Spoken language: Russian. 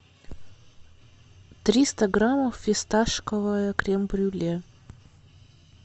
триста граммов фисташковое крем брюле